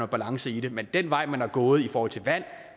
balance i det men den vej man er gået i forhold til vand